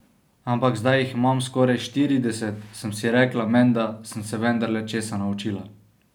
Ampak zdaj jih imam skoraj štirideset, sem si rekla, menda sem se vendarle česa naučila.